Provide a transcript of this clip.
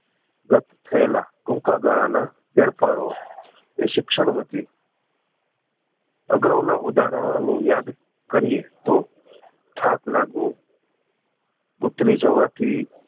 રદ થયેલા ટૂંકા ગાળા ના ફેરફારો એ શિક્ષણ વતી અગાઉ ના ઉદાહરણો ને યાદ કરીએ તો થાક લાગવો ઉતરી જવાથી